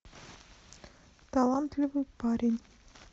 талантливый парень